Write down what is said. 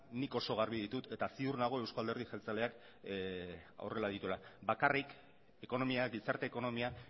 nik oso garbi ditut eta ziur nago eusko alderdi jeltzaleak horrela dituela bakarrik ekonomia gizarte ekonomia